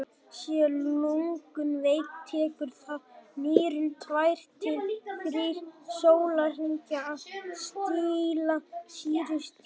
séu lungun veik tekur það nýrun tveir til þrír sólarhringa að stilla sýrustigið